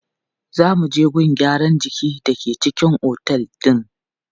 Za mu je gun gyaran jiki da ke cikin otel din.